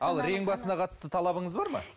ал рең басына қатысты талабыңыз бар ма